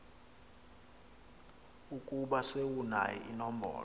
ukuba sewunayo inombolo